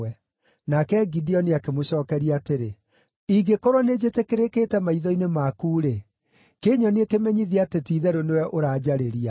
Nake Gideoni akĩmũcookeria atĩrĩ, “Ingĩkorwo nĩnjĩtĩkĩrĩkĩte maitho-inĩ maku-rĩ, kĩnyonie kĩmenyithia atĩ ti-itherũ nĩwe ũranjarĩria.